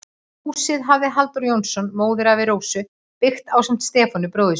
Húsið hafði Halldór Jónsson, móðurafi Rósu, byggt ásamt Stefáni, bróður sínum.